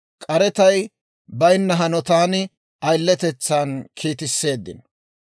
k'arettay baynna hanotan ayiletetsan kiitisseeddino.